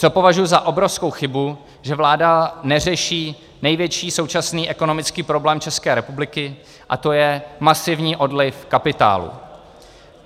Co považuji za obrovskou chybu, že vláda neřeší největší současný ekonomický problém České republiky, a to je masivní odliv kapitálu.